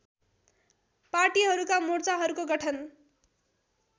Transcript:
पार्टीहरूका मोर्चाहरूको गठन